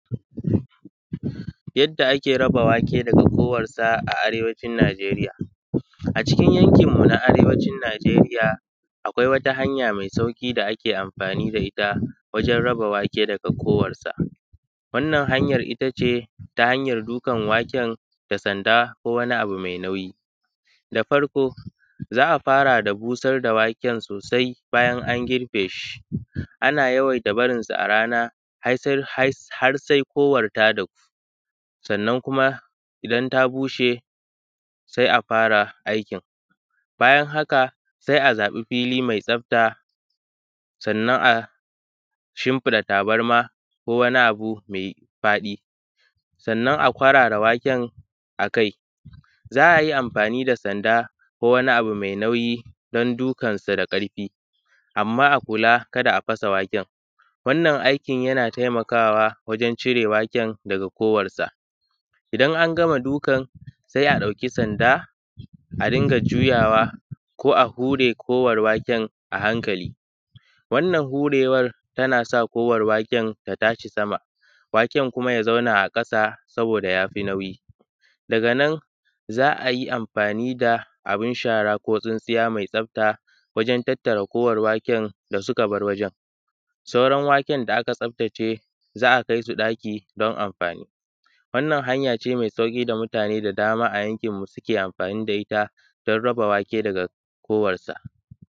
kwarara waken akai. Za’ayi amfani da sanda ko wani abu mai nauyi dan dukan sa da ƙarfi amma a kula dan kar a fasa waken. Wannan aikin yana taimakawa wajen cire waken daga kowassa idan angama dukan sai a ɗauki sanda a dunga juyawa ko a hure kowar waken a hankali wannan hurewar tana sa kowar waken ta tashi sama waken kuma ya zauna a sama saboda yafi nauyi. Daga nan za’ayi amfani da abun shara ko tsintsiya mai tsafta wajen tattara kowar waken da suka bar wajen sauran waken da aka tsafta ce za’a kaisu ɗaki dan amfani wannan hanya ce mai sauƙi da mutane da dama a yankin mu suke amfani da itta dan raba wake daga kowarsa.